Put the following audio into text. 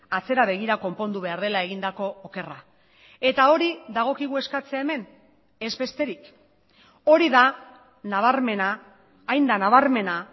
atzera begira konpondu behar dela egindako okerra eta hori dagokigu eskatzea hemen ez besterik hori da nabarmena hain da nabarmena